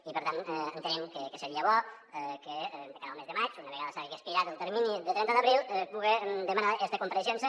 i per tant entenem que seria bo que de cara al mes de maig una vegada hagi expirat el termini de trenta d’abril poder demanar esta compareixença